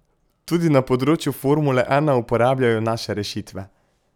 Tudi na področju formule ena uporabljajo naše rešitve.